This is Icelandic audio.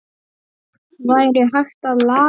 Væri hægt að laga það?